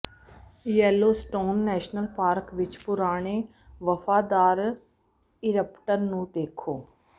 Yellowstone national park ਵਿਚ ਪੁਰਾਣੇ ਵਫਾਦਾਰ ਇਰਪਟ ਨੂੰ ਦੇਖੋ